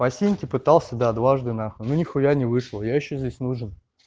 по синьки пытался да дважды нахуй но нихуя не вышел я ещё здесь нужен